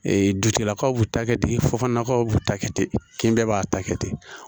dutigilakaw b'u ta kɛ ten fɔ nakaw b'u ta kɛ ten kin bɛɛ b'a ta kɛ ten